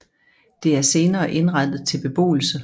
Det er senere indrettet til beboelse